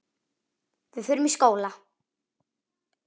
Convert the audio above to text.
Við förum í skóla.